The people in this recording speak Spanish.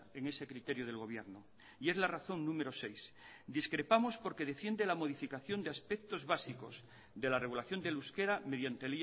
en ese criterio del gobierno y es la razón número seis discrepamos porque defiende la modificación de aspectos básicos de la regulación del euskera mediante